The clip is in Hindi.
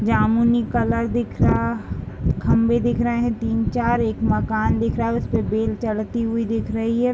जामुनी कलर दिख रहा खंभे दिख रहे हैं। तीन चार एक मकान दिख रहा उस पे एक बेल चढ़ती हुई दिख रही है।